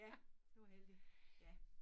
Ja det var heldigt ja